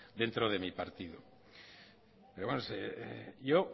dentro de mi partido yo